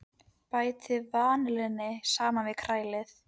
Bætið vanillunni saman við og kælið.